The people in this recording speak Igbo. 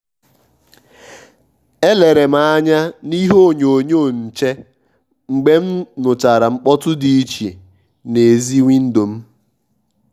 è lère m ányá na ìhè ònyònyò nchè mgbe m nụ́chàrà mkpọtụ dị́ ìchè n'èzì wíndò m.